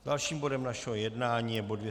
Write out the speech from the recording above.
Dalším bodem našeho jednání je bod